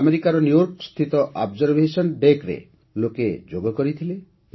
ଆମେରିକାର ନ୍ୟୁୟର୍କ ସ୍ଥିତ ଅବଜରଭେସନ ଡେକ୍ରେ ମଧ୍ୟ ଲୋକେ ଯୋଗ କରିଥିଲେ